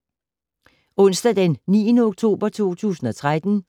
Onsdag d. 9. oktober 2013